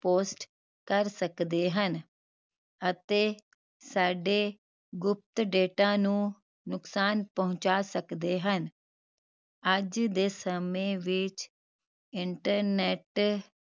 link post ਕਰ ਸਕਦੇ ਹਨ ਅਤੇ ਸਾਡੇ ਗੁਪਤ data ਨੂੰ ਨੁਕਸਾਨ ਪਹੁੰਚਾ ਸਕਦੇ ਹਨ ਅੱਜ ਦੇ ਸਮੇ ਵਿਚ internet